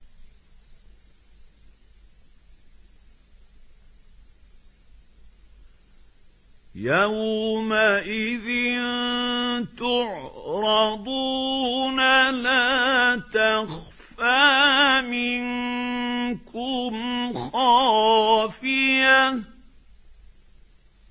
يَوْمَئِذٍ تُعْرَضُونَ لَا تَخْفَىٰ مِنكُمْ خَافِيَةٌ